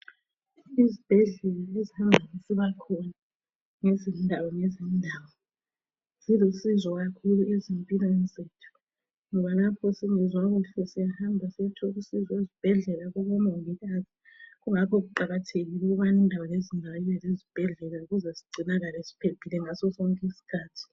Izibhedlela ezavulwayo ngezindawo ngezindawo, zilusizo kakhulu ezimpilweni zethu ngoba lapho singezwa kuhle syahamba siyethola usizo ezibhedlela kubomongikazi. Kungakho kuqakathekile ukubana indawo lezindawo ibe lezibhedlela ukuze sigcinakale siphephile ngaso sonke iskhathi.